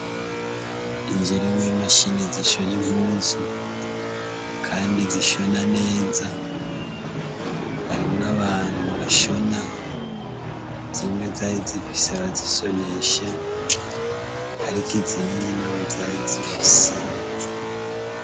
Inzu irimwo imashine zishona impuzu kandi zishona neza, harimwo abantu bashona, zimwe zarizifise abazishonesha ariko izindi ntabo zari zifise.